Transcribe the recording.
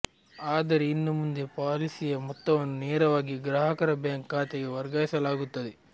ಆದರೆ ಇನ್ನು ಮುಂದೆ ಪಾಲಿಸಿಯ ಮೊತ್ತವನ್ನು ನೇರವಾಗಿ ಗ್ರಾಹಕರ ಬ್ಯಾಂಕ್ ಖಾತೆಗೆ ವರ್ಗಾಯಿಸಲಾಗುತ್ತದೆ